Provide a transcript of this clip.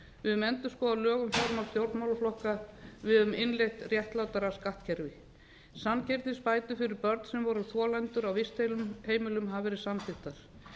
höfum endurskoðað lög um fjármál stjórnmálaflokka við höfum innleitt réttlátara skattkerfi samkeppnisbætur fyrir börn sem voru þolendur á vistheimilum hafa verið samþykktar